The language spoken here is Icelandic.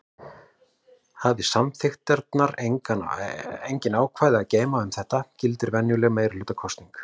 Hafi samþykktirnar engin ákvæði að geyma um þetta gildir venjuleg meirihlutakosning.